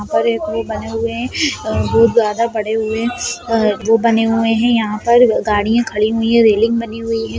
यहाँ पर एक वो बने हुए है अ बहुत ज्यादा पड़े हुए है वो बने हुए हैं यहाँ पर गाड़ियाँ खड़ी हुई हैं रेलिंग बनी हुई है।